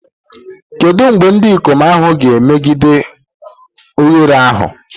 Kedu mgbe ndị ikom ahụ ga-emeghe oghere ahụ?